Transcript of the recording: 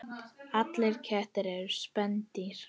Allir kettir eru spendýr